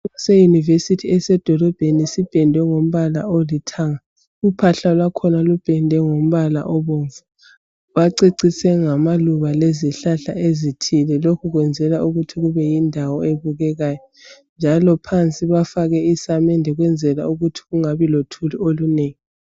Iyunivesithi esedolobheni ipendwe ngombala olithanga. Uphahla lwakhona lupendwe ngombala obomvu. Bacecise ngamaluba lezihlahla ezithile lokhu kwenzelwa ukuthi kubeyindawo ebukekayo njalo phansi bafake isamende ukuze kungabi lothuli olunengi.